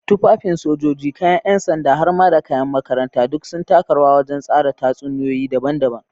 Tufafin sojoji, kayan ’yan sanda, har ma da kayan makaranta duk sun taka rawa wajen tsara tatsuniyoyi daban-daban.